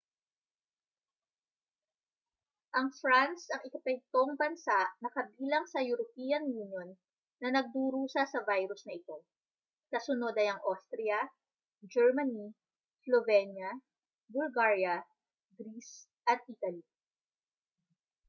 ang france ang ikapitong bansa na kabilang sa european union na nagdurusa sa virus na ito kasunod ay ang austria germany slovenia bulgaria greece at italy